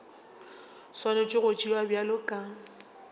swanetše go tšewa bjalo ka